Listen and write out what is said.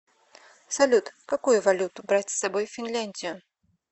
салют какую валюту брать с собой в финляндию